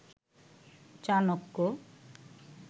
Chanakya